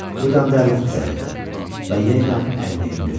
Bu dəmdə əli titrədi və yenə əlini endirdi.